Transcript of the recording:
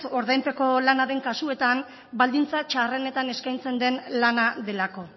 ordainpeko lana den kasuetan baldintza txarrenetan eskaintzen den lana delako